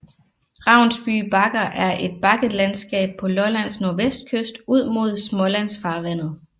Ravnsby Bakker er et bakketlandskab på Lollands nordvestkyst ud mod Smålandsfarvandet